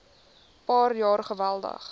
paar jaar geweldig